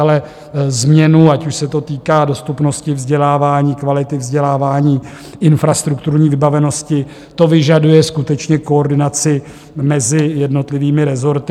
Ale změna, ať už se to týká dostupnosti vzdělávání, kvality vzdělávání, infrastrukturní vybavenosti, to vyžaduje skutečně koordinaci mezi jednotlivými rezorty.